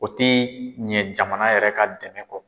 O tɛ ɲɛ jamana yɛrɛ ka dɛmɛ kɔ.